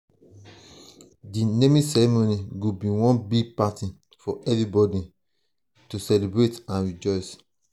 di naming ceremony go be one big party for everybody celebrate and rejoice.